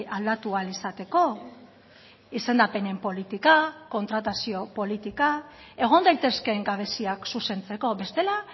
aldatu ahal izateko izendapenen politika kontratazio politika egon daitezkeen gabeziak zuzentzeko bestela